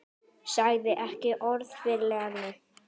Sagði ekki orð við Lenu.